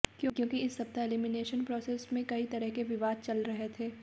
क्योंकि इस सप्ताह एलिमिनेशन प्रॉसेस में कई तरह के विवाद चल रहे थे